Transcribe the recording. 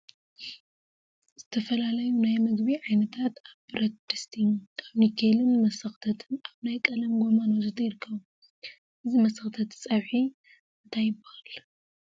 ዝተፈላለዩ ናይ ምግቢ ዓይነታት አብ ብረት ድስቲ፣ አበ ኒከልን መሰክተትን አብ ናይ ቀለም ጎማን ወዘተ ይርከቡ፡፡ እዚ መሰክተት ፀብሒ እንታይ ይበሃል?